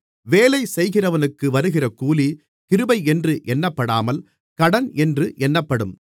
வேலை செய்கிறவனுக்கு வருகிற கூலி கிருபை என்று எண்ணப்படாமல் கடன் என்று எண்ணப்படும்